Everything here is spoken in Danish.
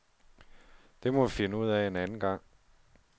Det må vi finde ud af en anden gang.